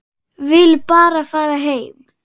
Vill bara fara heim.